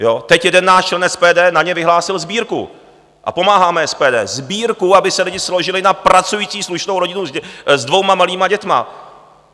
Teď jeden náš člen SPD na ně vyhlásil sbírku a pomáháme, SPD, sbírku, aby se lidi složili na pracující slušnou rodinu s dvěma malými dětmi.